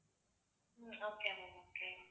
okay ma'am okay